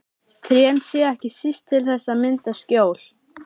Trén séu ekki síst til þess að mynda skjól.